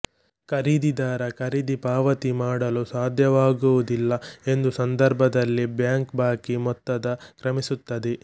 ಖರೀದಿದಾರ ಖರೀದಿ ಪಾವತಿ ಮಾಡಲು ಸಾಧ್ಯವಾಗುವುದಿಲ್ಲ ಎಂದು ಸಂದರ್ಭದಲ್ಲಿ ಬ್ಯಾಂಕ್ ಬಾಕಿ ಮೊತ್ತದ ಕ್ರಮಿಸುತ್ತದೆ